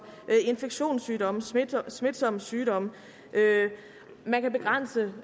infektionssygdomme smitsomme sygdomme man kan begrænse